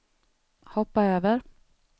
hoppa över